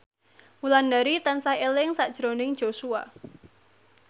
Wulandari tansah eling sakjroning Joshua